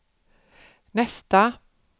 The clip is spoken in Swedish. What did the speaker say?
nästa